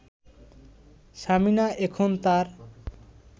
সামিনা এখন তার